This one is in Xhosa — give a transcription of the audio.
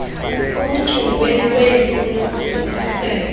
ekuchongweni kweemfuno zokhuselo